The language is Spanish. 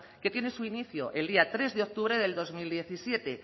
que tiene su inicio el día tres de octubre de dos mil diecisiete